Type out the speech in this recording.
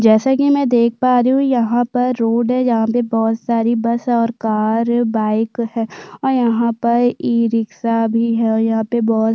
जैसा की मै देख पा रही हु यहाँ रोड है यहाँ पर बहुत सारी बस और कार बाइक है और यहाँ पर ई रिक्शा भी है और यहाँ पर --